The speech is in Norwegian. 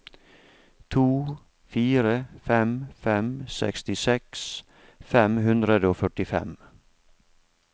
to fire fem fem sekstiseks fem hundre og førtifem